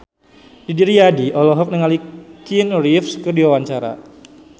Didi Riyadi olohok ningali Keanu Reeves keur diwawancara